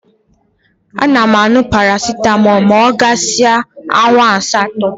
A na-añụ paracitamọ ma ọ gasịa awa asatọ.